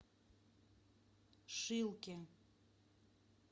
шилке